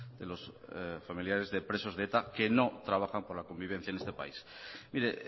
de los familiares de presos de eta que no trabajan por la convivencia en este país mire